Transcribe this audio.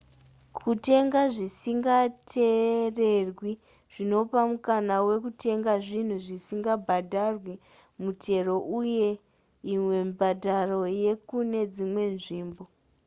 kutenga zvisinga tererwi zvinopa mukana wekutenga zvinhu zvisingabhadharwi mutero uye imwe mibhadharo yekune dzimwe nzvimbo